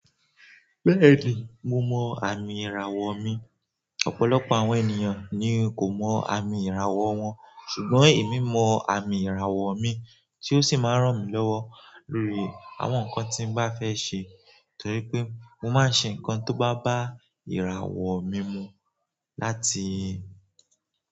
Bẹ́ẹ̀ni, mo mọ àmì ìràwọ̀ mi. Ọ̀pọ̀lọpọ̀ àwọn ènìyàn ni kò mọ àmì ìràwọ̀ wọn, ṣùgbọ́n èmi mọ àmì ìràwọ̀ mi tí ó sì máa ń ràn mí lọ́wọ́ lórí àwọn nǹkan tí n bá fẹ́ ṣe torí pé mo máa ń ṣe nǹkan tó bá bá ìràwọ̀ mi mu láti.